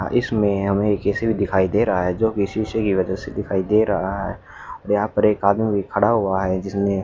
इसमें हमें एक ए_सी भी दिखाई दे रहा है जो कि शीशे की वजह से दिखाई दे रहा है और यहां पर एक आदमी भी खड़ा हुआ है जिसने--